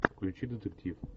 включи детектив